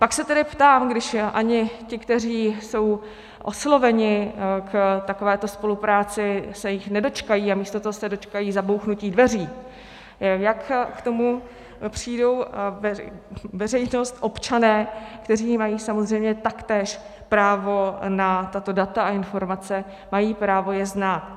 Pak se tedy ptám, když ani ti, kteří jsou osloveni k takovéto spolupráci, se jich nedočkají a místo toho se dočkají zabouchnutí dveří, jak k tomu přijde veřejnost, občané, kteří mají samozřejmě taktéž právo na tato data a informace, mají právo je znát.